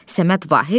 Səməd Vahid.